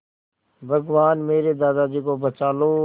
भगवान मेरे दादाजी को बचा लो